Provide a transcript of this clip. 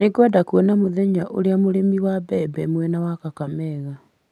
Nĩngwenda kuona mũthenya ũrĩa mũrĩmi wa mbembe mwena wa Kakamega,